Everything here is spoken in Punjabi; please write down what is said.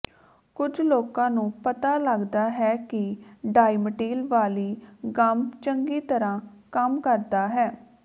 ਕੁਝ ਲੋਕਾਂ ਨੂੰ ਪਤਾ ਲਗਦਾ ਹੈ ਕਿ ਡਾਈਮਟੀਲ ਵਾਲੀ ਗੱਮ ਚੰਗੀ ਤਰ੍ਹਾਂ ਕੰਮ ਕਰਦਾ ਹੈ